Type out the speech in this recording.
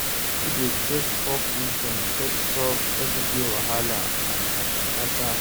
Pipo dey take folk wisdom take solve everyday wahala and kata kata.